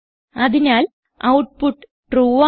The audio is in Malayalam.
അതിനാൽ ഔട്ട്പുട്ട് ട്രൂ ആണ്